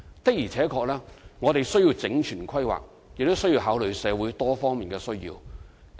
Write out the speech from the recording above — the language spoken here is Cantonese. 我們確實需要整全規劃，亦需要考慮社會多方面的需要。